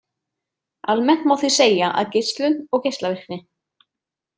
Almennt má því segja að geislun og geislavirkni.